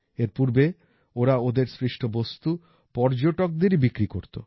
এর পূর্বে ওরা ওদের সৃষ্ট বস্তু পর্যটকদেরই বিক্রি করতো